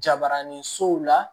Jabaranin sow la